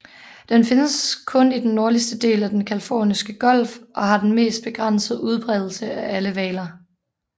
Den findes kun i den nordligste del af den Californiske Golf og har den mest begrænsede udbredelse af alle hvaler